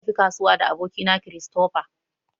Mun tafi kasuwa da aboki na Christopher.